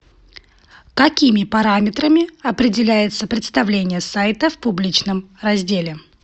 какими параметрами определяется представление сайта в публичном разделе